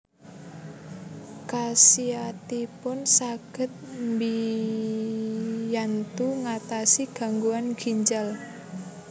Khasiatipun saged mbiyantu ngatasi gangguan ginjal